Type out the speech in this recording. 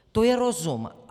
To je rozum.